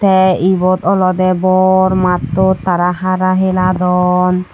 te ibot olodey bor mattot tara hara heladon.